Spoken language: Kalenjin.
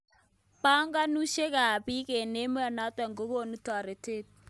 Bokolushek ab bik eng emonotok kokeni toretet.